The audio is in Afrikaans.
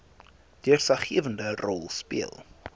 deurslaggewende rol speel